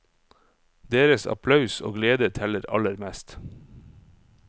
Deres applaus og glede teller aller mest.